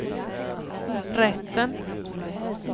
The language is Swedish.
rätten